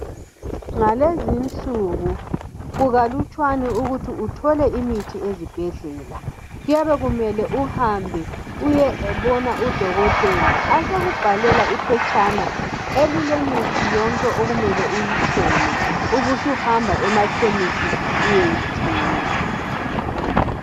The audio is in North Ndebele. Ngalezinsuku kukalutshwana ukuthi uthole imithi ezibhedlela. Kuyabe kumele uhambe uyebona udokotela abesekubhalela iphetshana elilemithi yonke okumele uyithenge ubusuhamba emakhemisi uyeyithenga.